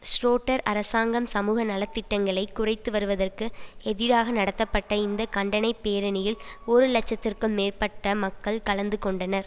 Schroeder அரசாங்கம் சமூக நல திட்டங்களை குறைத்துவருவதற்கு எதிராக நடத்தப்பட்ட இந்த கண்டனைப் பேரணியில் ஒரு இலட்சத்திற்கு மேற்பட்ட மக்கள் கலந்து கொண்டனர்